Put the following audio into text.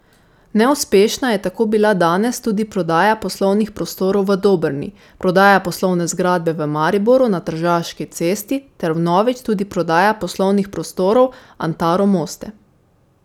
Neuspešna je tako bila danes tudi prodaja poslovnih prostorov v Dobrni, prodaja poslovne zgradbe v Mariboru na Tržaški cesti ter vnovič tudi prodaja poslovnih prostorov Antaro Moste.